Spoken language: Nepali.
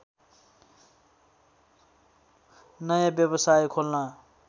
नयाँ व्यवसाय खोल्न